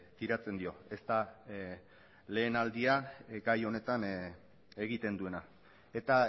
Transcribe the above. tiratzen dio ez da lehen aldia gai honetan egiten duena eta